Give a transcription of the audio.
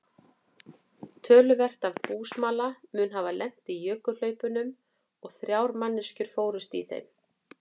Töluvert af búsmala mun hafa lent í jökulhlaupunum og þrjár manneskjur fórust í þeim.